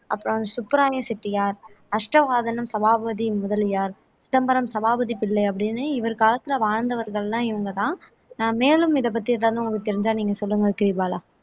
அப்புறம் சுப்பராய செட்டியார் அஷ்டவாத சபாபதி முதலியார் சிதம்பரம் சபாபதி பிள்ளை அப்படின்னு இவர் காலத்துல வாழ்ந்தவர்கள் எல்லாம் இவங்கதான் மேலும் இதப்பத்தி ஏதாவது உங்களுக்குத் தெரிஞ்சா நீங்க சொல்லுங்க கிரிபாலா